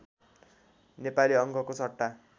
नेपाली अङ्कको सट्टा